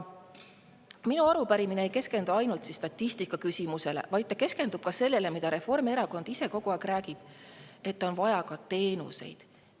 Minu arupärimine ei keskendu ainult statistika küsimusele, vaid ka sellele, millest Reformierakond ise kogu aeg räägib: et on vaja teenuseid.